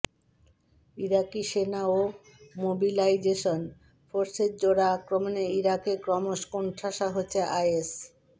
ইরাকি সেনা ও মোবিলাইজেশন ফোর্সের জোড়া আক্রমণে ইরাকে ক্রমশ কোণঠাসা হচ্ছে আইএস